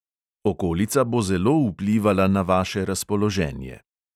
Okolica bo zelo vplivala na vaše razpoloženje.